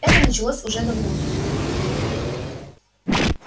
это началось уже давно